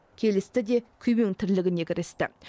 келісті де күйбең тірлігіне кірісті